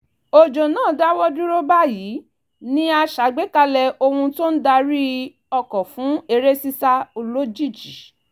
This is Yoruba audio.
òjò náà dáwọ́ dúró báyìí ni a ṣàgbékalẹ̀ ohun tó ń darí ọkọ̀ fún eré sísá olójijì